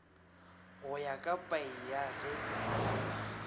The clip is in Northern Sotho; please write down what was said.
go ya ka paia ge